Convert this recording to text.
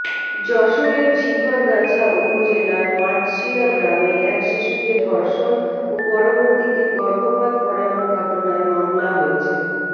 যশোরের ঝিকরগাছা উপজেলার মাটশিয়া গ্রামে এক শিশুকে ধর্ষণ ও পরবর্তীতে গর্ভপাত করানোর ঘটনায় মামলা হয়েছে